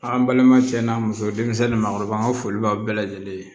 An balima cɛ n'a muso denmisɛnnin maakɔrɔba ka foli b'aw bɛɛ lajɛlen ye